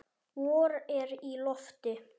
Vor er í lofti.